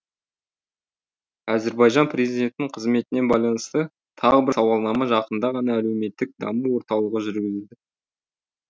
әзірбайжан президентінің қызметіне байланысты тағы бір сауалнама жақында ғана әлеуметтік даму орталығы жүргізді